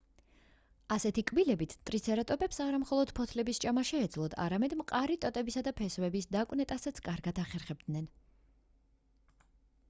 ასეთი კბილებით ტრიცერატოპებს არა მხოლოდ ფოთლების ჭამა შეეძლოთ არამედ მყარი ტოტებისა და ფესვების დაკვნეტასაც კარგად ახერხებდნენ